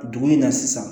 Dumuni na sisan